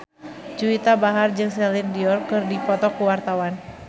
Juwita Bahar jeung Celine Dion keur dipoto ku wartawan